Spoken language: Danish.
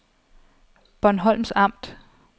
Bornholms Amt